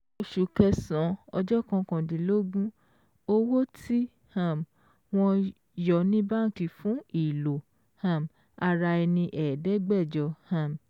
Oṣù kẹsàn-án ọjọ́ kọkàndínlógún, owó tí um wọ́n yọ ní báǹkì fún ìlò um ara ẹni ẹ̀ẹ́dẹ́gbẹ̀jọ́ um